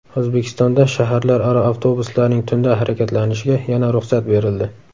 O‘zbekistonda shaharlararo avtobuslarning tunda harakatlanishiga yana ruxsat berildi.